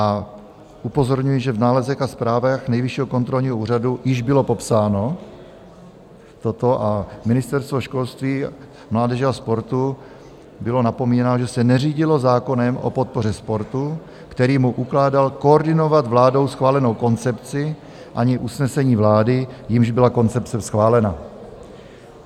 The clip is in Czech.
A upozorňuji, že v nálezech a zprávách Nejvyššího kontrolního úřadu již bylo popsáno toto a Ministerstvo školství, mládeže a sportu bylo napomínáno, že se neřídilo zákonem o podpoře sportu, který mu ukládal koordinovat vládou schválenou koncepci, ani usnesením vlády, jímž byla koncepce schválena.